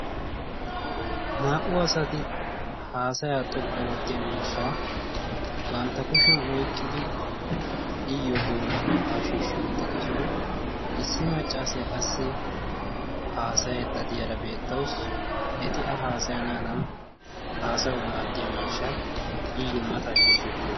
naa"u asati haasaya xoqqu oottiya miishshaa bantta kushiyan oiqqidi iyyo doonaakko ha shiishshi uttidosona. issi maccaasiyaa qassi haasayeeddadiyaara beettaussi eti a haasayanaadan haasaya maaddiya miishshaa iyyo mata ha shiishshi uttidosona.